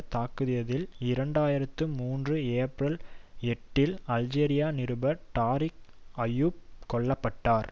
தாக்கியதில் இரண்டு ஆயிரத்தி மூன்று ஏப்ரல் எட்டில் அல்ஜெசீரா நிருபர் டாரிக் ஐயுப் கொல்ல பட்டார்